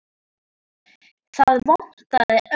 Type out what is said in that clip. Það vantaði ömmu.